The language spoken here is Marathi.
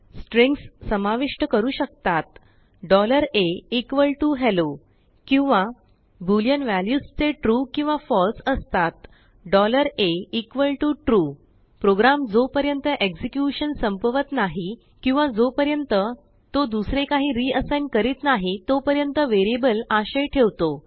स्ट्रींग्ससामाविष्ट करू शकतातahelloकिंवा बुलिअन व्ह्यालूस जेtrueकिंवाfalseअसतातatrue प्रोग्राम जोपर्यंतएक्सेक्युशन संपवत नाही किंवाजोपर्यंत तो दुसरे काही रिअसाइग्न करीत नाही तोपर्यंतवेरिअबल आशय ठेवतो